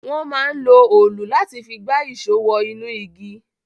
Wọ́n máa ń lo olù láti fi gba ìṣó wọ inú igi